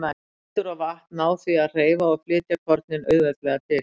Vindur og vatn ná því að hreyfa og flytja kornin auðveldlega til.